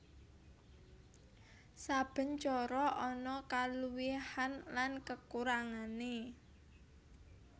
Saben cara ana kaluwihan lan kakurangané